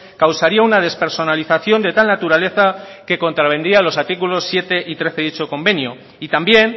causaría una despersonalización de tal naturaleza que contravendría los artículos siete y trece de dicho convenio y también